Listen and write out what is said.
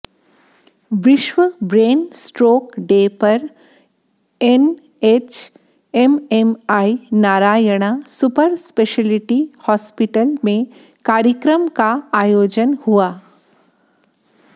विश्व brain stroke day पर NHMMI Narayana super speciality hospital में कार्यक्रम का आयोजन हुआ